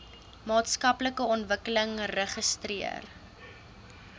maatskaplike ontwikkeling registreer